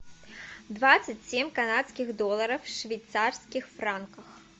двадцать семь канадских долларов в швейцарских франках